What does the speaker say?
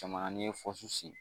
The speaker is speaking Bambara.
n'i ye sen